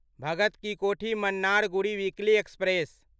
Bhagat Ki Kothi Mannargudi weekly express